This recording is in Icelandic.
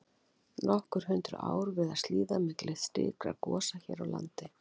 Nokkur hundruð ár virðast líða milli slíkra gosa hér á landi.